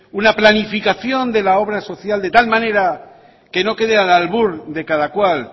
una planificación de la obra social de tal manera que no quede al albur de cada cual